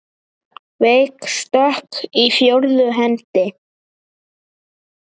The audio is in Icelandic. Veik stökk í fjórðu hendi!